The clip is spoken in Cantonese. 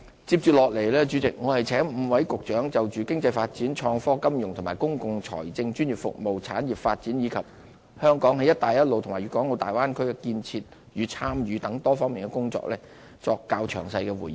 接着我請5位局長就經濟發展、創科、金融及公共財政、專業服務、產業發展，以及香港在"一帶一路"及粵港澳大灣區建設的參與等多方面的工作作出較詳細回應。